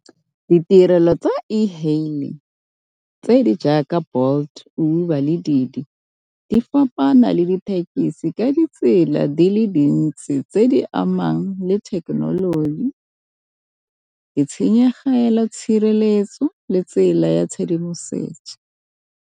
Ditirelo tsa e-hailing tse di jaaka Bolt, Uber le di fapana le dithekisi ka ditsela di le dintsi tse di amang le thekenoloji, ditshenyegelo, tshireletso le tsela ya tshedimosetso.